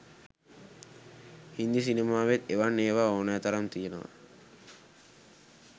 හින්දි සිනමාවෙත් එවන් ඒවා ඕනෑ තරම් තියෙනවා.